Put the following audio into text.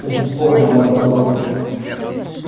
бесспорно мой дорогой друг